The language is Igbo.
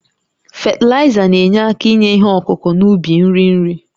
Fatịlaịza na-enye aka inye ihe ọkụkụ n'ubi nri nri